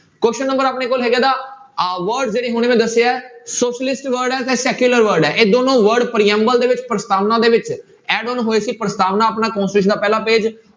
Question number ਆਪਣੇ ਕੋਲ ਆਹ word ਜਿਹੜੇ ਹੁਣੀ ਮੈਂ ਦੱਸੇ ਹੈ socialist word ਹੈ ਤੇ secular word ਹੈ ਇਹ ਦੋਨੋਂ word ਪ੍ਰਿਅੰਬਲ ਦੇ ਵਿੱਚ ਪ੍ਰਸਤਾਵਨਾ ਦੇ ਵਿੱਚ ਇਹ ਦੋਨੋਂ ਹੋਏ ਸੀ ਪ੍ਰਸਤਾਵਨਾ ਆਪਣਾ constitution ਦਾ ਪਹਿਲਾ page